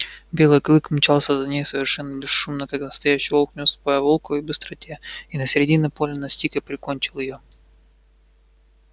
белый клык мчался за ней совершенно бесшумно как настоящий волк не уступая волку и в быстроте и на середине поля настиг и прикончил её